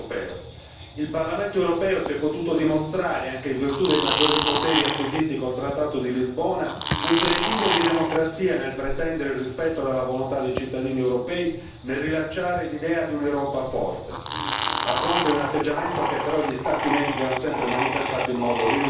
Il Parlamento europeo si è potuto dimostrare, anche in virtù dei maggiori poteri acquisiti con il Trattato di Lisbona, un presidio di democrazia nel pretendere il rispetto della volontà dei cittadini europei nel rilanciare l'idea di un'Europa forte, a fronte di un atteggiamento che però gli Stati membri hanno sempre manifestato in modo rinunciatario.